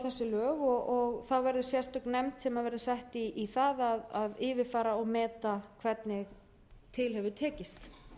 lög og þá verði sérstök nefnd sett í það að yfirfara og meta hvernig til hefur tekist